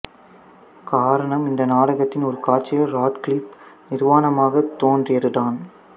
காரணம் இந்த நாடகத்தின் ஒரு காட்சியில் ராட்க்ளிஃப் நிர்வாணமாகத் தோன்றியதுதான்